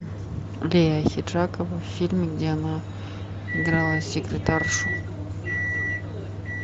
лия ахеджакова в фильме где она играла секретаршу